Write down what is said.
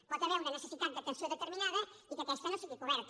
hi pot haver una necessitat d’atenció determinada i que aquesta no sigui coberta